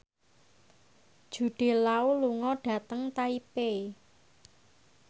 Jude Law lunga dhateng Taipei